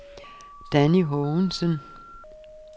Danni Haagensen